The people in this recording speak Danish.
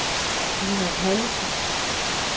Dina Pallesen